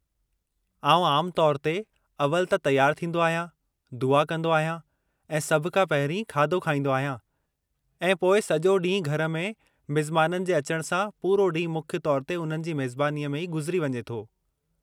आउं आमु तौर ते अवलि त तयारु थींदो आहियां, दुआ कंदो आहियां ऐं सभु खां पहिरीं खाधो खाईंदो आहियां; ऐं पोइ सॼो ॾींहुं घर में मिज़माननि जे अचणु सां पूरो ॾींहुं मुख्य तौरु ते उन्हनि जी मेज़बानीअ में ई गुज़री वञे थो।